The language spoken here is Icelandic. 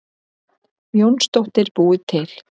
Jónsdóttir búið til.